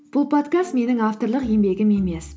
бұл подкаст менің авторлық еңбегім емес